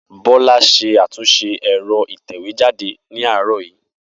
Bola ṣe àtúnṣe ẹ̀rọ ìtẹ̀wé jáde ní àárọ̀ yìí